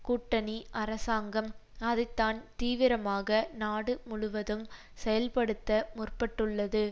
கூட்டணி அரசாங்கம் அதை தான் தீவிரமாக நாடு முழுவதும் செயல்படுத்த முற்பட்டுள்ளது